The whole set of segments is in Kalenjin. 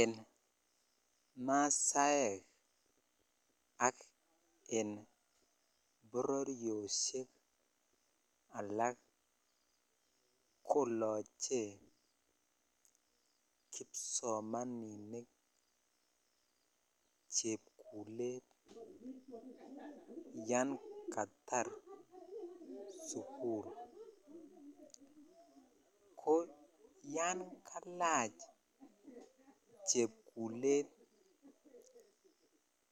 En masaek ak en bororyoshek alak koloche kipsomaninik chepkulet yan katar sukul ko yan kalach kepkulet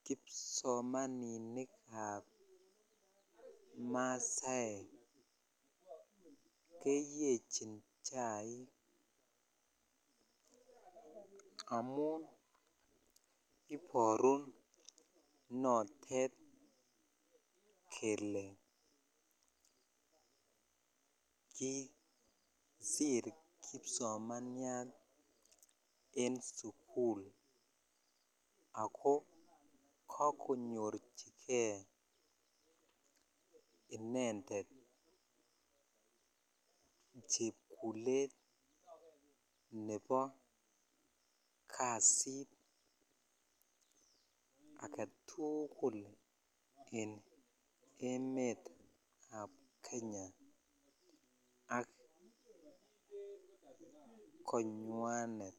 kipsomaninikab mastekeyechi chaik amun ibaru notet kele kisiti kipsomaninik en sukul ak kakonyorchikei intended chepkulet nebo kasit agetukul en emet ab Kenya ak konywanet.